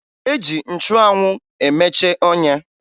E ji nchụanwụ emeche ọnya